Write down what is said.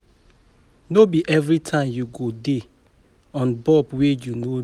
No be everytime you go dey on bulb wey you no need.